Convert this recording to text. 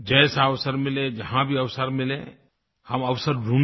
जैसा अवसर मिले जहाँ भी अवसर मिले हम अवसर ढूंढें